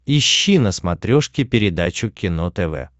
ищи на смотрешке передачу кино тв